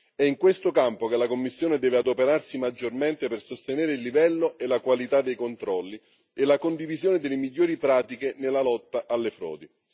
È in questo campo che la Commissione deve adoperarsi maggiormente per sostenere il livello e la qualità dei controlli e la condivisione delle migliori pratiche nella lotta alle frodi.